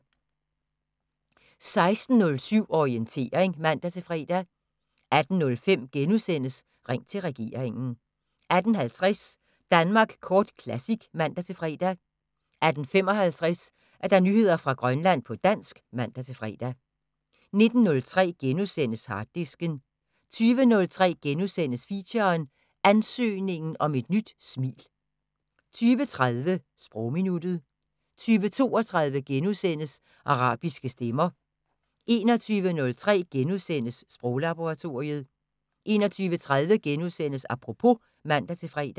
16:07: Orientering (man-fre) 18:05: Ring til regeringen * 18:50: Danmark Kort Classic (man-fre) 18:55: Nyheder fra Grønland på dansk (man-fre) 19:03: Harddisken * 20:03: Feature: Ansøgningen om et nyt smil * 20:30: Sprogminuttet 20:32: Arabiske stemmer * 21:03: Sproglaboratoriet * 21:30: Apropos *(man-fre)